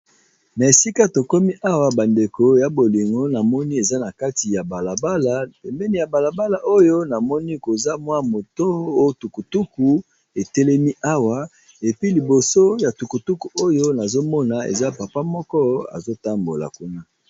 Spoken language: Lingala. Na esika tokomi Awa bandeko ya bolingi eza balabala nakuti namini esa moto esa tukutuku ezo tambila kuna